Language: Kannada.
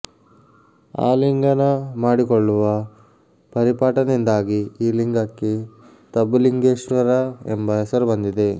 ಆಲಿಂಗನ ಮಾಡಿಕೊಳ್ಳುವ ಪರಿಪಾಠದಿಂದಾಗಿ ಈ ಲಿಂಗಕ್ಕೆ ತಬ್ಬುಲಿಂಗೇಶ್ವರ ಎಂಬ ಹೆಸರು ಬಂದಿದೆ